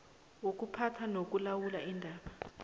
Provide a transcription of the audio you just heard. wokuphatha nokulawula iindaba